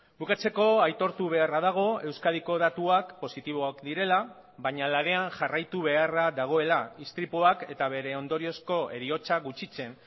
bukatzeko aitortu beharra dago euskadiko datuak positiboak direla baina lanean jarraitu beharra dagoela istripuak eta bere ondoriozko heriotza gutxitzen